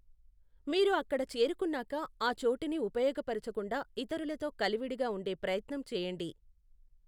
మీరు అక్కడ చేరుకున్నాక, ఆ చోటుని ఉపయోగపరచుకుంటూ ఇతరులతో కలివిడిగా ఉండే ప్రయత్నం చేయండి.